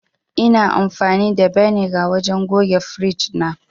Ina amfani da beniga wajen goge firiji na